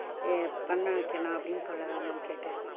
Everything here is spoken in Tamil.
ஆஹ் பன்னவைக்கலாம் அப்படின்னு சொல்ல தான் ma'am கேட்டேன்.